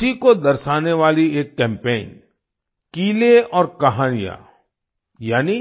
इसी को दर्शाने वाली एक कैम्पेन किले और कहानियाँ यानी